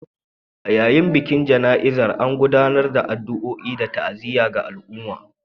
A yayin bikin jana’izar, an gudanar da addu’o’i da ta’aziyya ga al’umma